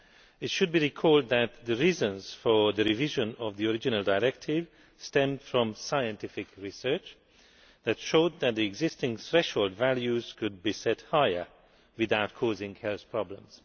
It should be recalled that the reasons for the revision of the original directive stemmed from scientific research that showed that the existing threshold values could be set higher without causing health problems.